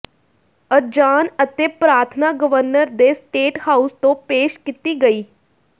ਅਜ਼ਾਨ ਅਤੇ ਪ੍ਰਾਰਥਨਾ ਗਵਰਨਰ ਦੇ ਸਟੇਟ ਹਾਊਸ ਤੋਂ ਪੇਸ਼ ਕੀਤੀ ਗਈ